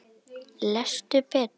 Lestu betur!